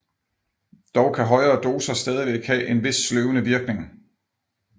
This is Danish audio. Dog kan højere doser stadig have en vis sløvende virkning